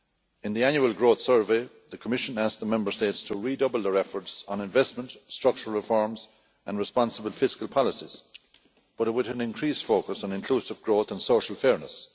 In the Annual Growth Survey, the Commission asked the Member States to redouble their efforts on investment, structural reforms and responsible fiscal policies, but with an increased focus on inclusive growth and social fairness.